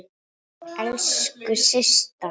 Elsku Systa.